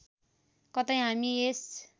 कतै हामी यस